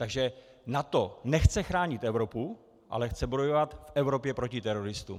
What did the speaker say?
Takže NATO nechce chránit Evropu, ale chce bojovat v Evropě proti teroristům.